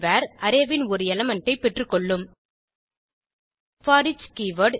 array ன் ஒரு element ஐ பெற்றுக்கொள்ளும் போரிச் கீவர்ட்